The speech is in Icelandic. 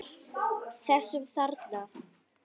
Þessum þarna!